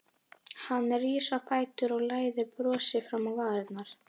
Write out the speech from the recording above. Hann rís á fætur og læðir brosi fram á varirnar.